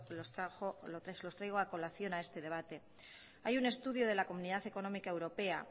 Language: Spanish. que los traigo a colación a este debate hay un estudio de la comunidad económica europea